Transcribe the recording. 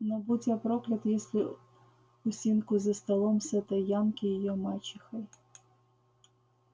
но будь я проклят если усинку за столом с этой янки её мачехой